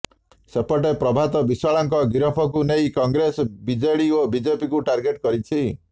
ସେପଟେ ପ୍ରଭାତ ବିଶ୍ୱାଳଙ୍କ ଗିରଫକୁ ନେଇ କଂଗ୍ରେସ ବିଜେଡ଼ି ଓ ବିଜେପିକୁ ଟର୍ଗେଟ୍ କରିଛି